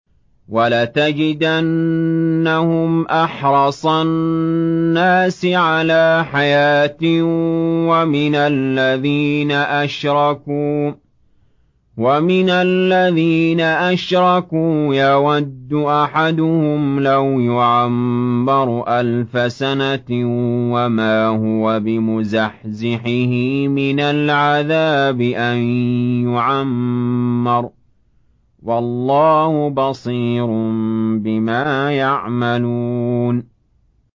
وَلَتَجِدَنَّهُمْ أَحْرَصَ النَّاسِ عَلَىٰ حَيَاةٍ وَمِنَ الَّذِينَ أَشْرَكُوا ۚ يَوَدُّ أَحَدُهُمْ لَوْ يُعَمَّرُ أَلْفَ سَنَةٍ وَمَا هُوَ بِمُزَحْزِحِهِ مِنَ الْعَذَابِ أَن يُعَمَّرَ ۗ وَاللَّهُ بَصِيرٌ بِمَا يَعْمَلُونَ